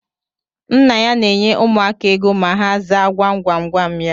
Nna ya na enye ụmụaka égo ma ha zaa gwam gwam gwam ya